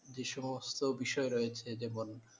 যে সমস্ত বিষয় রয়েছে যেমন,